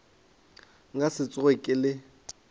nka se tsoge ke le